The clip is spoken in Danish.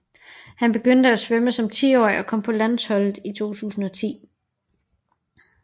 Han begyndte at svømme som tiårig og kom på landsholdet i 2010